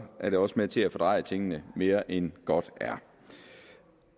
er det også med til at fordreje tingene mere end godt er